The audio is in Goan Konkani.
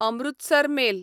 अमृतसर मेल